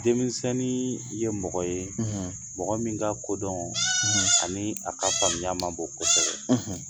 Denmisɛnnin ye mɔgɔ ye mɔgɔ min ka kodɔn ani a ka faamuya ma bɔ ko kosɛbɛ